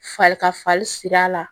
Fa ka farin sira la